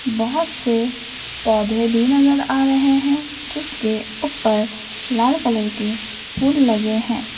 बहुत से पौधे भी नजर आ रहे हैं जिसके ऊपर लाल कलर के फूल लगे हैं।